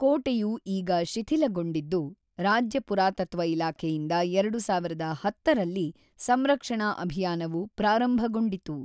ಕೋಟೆಯು ಈಗ ಶಿಥಿಲಗೊಂಡಿದ್ದು, ರಾಜ್ಯ ಪುರಾತತ್ವ ಇಲಾಖೆಯಿಂದ ೨೦೧೦ರಲ್ಲಿ ಸಂರಕ್ಷಣಾ ಅಭಿಯಾನವು ಪ್ರಾರಂಭಗೊಂಡಿತು.